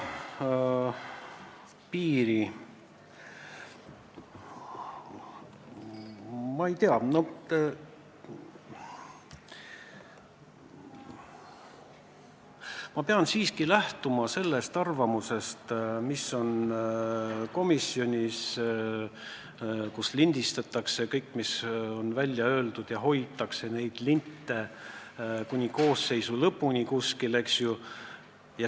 Ma ei tea, ma pean siiski lähtuma sellest arvamusest, mis jäi kõlama komisjonis, kus salvestatakse kõik, mis on välja öeldud, ja hoitakse neid salvestisi kuni koosseisu lõpuni.